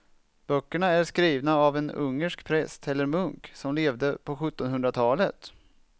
Böckerna är skrivna av en ungersk präst eller munk som levde på sjuttonhundratalet.